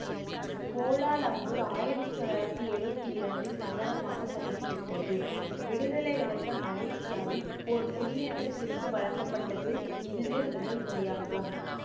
Kuala Lumpur ஆயிரத்தி தொள்ளாயிரத்தி எழுவத்தி இரண்டில் நகரமாக தகுதிபெற்றது விடுதலையடைந்த மலேசியாவில் ஒரு குடியேற்றத்திற்கு வழங்கப்பட்டது இதுவே முதல்முறையாகும்